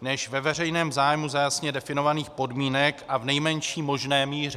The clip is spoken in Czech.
než ve veřejném zájmu za jasně definovaných podmínek a v nejmenší možné míře.